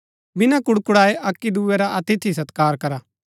बिना कुड़कुड़ाए अक्की दूये रा अतिथी सत्कार करा